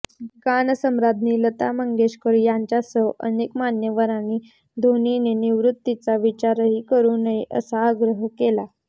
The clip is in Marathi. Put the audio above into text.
गानसम्राज्ञी लता मंगेशकर यांच्यासह अनेक मान्यवरांनी धोनीने निवृत्तीचा विचारही करू नये असा आग्रह केला आहे